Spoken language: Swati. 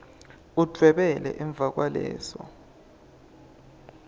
udvwebele emva kwaleso